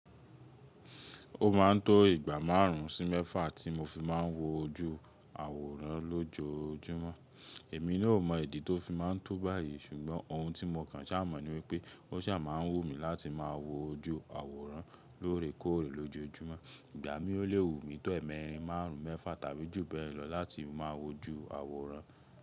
Ó ma ń tó ìgbà márùn ún sí mẹ́fà tí mo fi má ń wo ojú àwòrán lójoojúmọ́. Èmi náà ò mọ ìdí tó fi má ń tó báyìí ṣùgbọ́n ohun tí mo kàn ṣá mọ̀ níwípé ó ṣà má ń wù mí láti má wo ojú àwòrán lóore kóòrè lójojúmọ́. Ìgbà mí ó léwu mi tó ẹ̀ẹ̀mẹrin márùn ún mẹ́fà tàbí jù bẹ́ẹ̀ lọ láti má wo ojú àwòrán.